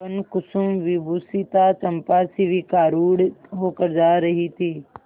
वनकुसुमविभूषिता चंपा शिविकारूढ़ होकर जा रही थी